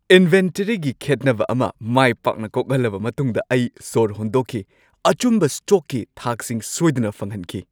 ꯏꯟꯚꯦꯟꯇꯔꯤꯒꯤ ꯈꯦꯠꯅꯕ ꯑꯃ ꯃꯥꯏ ꯄꯥꯛꯅ ꯀꯣꯛꯍꯜꯂꯕ ꯃꯇꯨꯡꯗ ꯑꯩ ꯁꯣꯔ ꯍꯣꯟꯗꯣꯛꯈꯤ, ꯑꯆꯨꯝꯕ ꯁ꯭ꯇꯣꯛꯀꯤ ꯊꯥꯛꯁꯤꯡ ꯁꯣꯏꯗꯅ ꯐꯪꯍꯟꯈꯤ꯫​